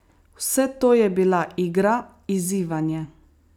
Vse to je bila igra, izzivanje.